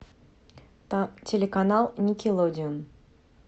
телеканал никелодеон